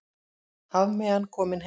Hafmeyjan komin heim